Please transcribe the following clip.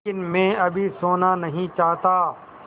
लेकिन मैं अभी सोना नहीं चाहता